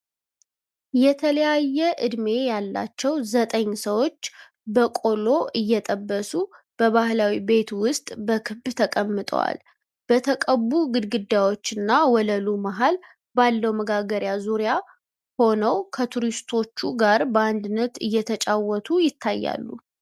የተለያየ ዕድሜ ያላቸው ዘጠኝ ሰዎች በቆሎ እየጠበሱ በባህላዊ ቤት ውስጥ በክብ ተቀምጠዋል። በተቀቡ ግድግዳዎች እና ወለሉ መሃል ባለው መጋገሪያ ዙሪያ ሆነው ከቱሪስቶች ጋር በአንድነት እየተጫወቱ ይታያሉ።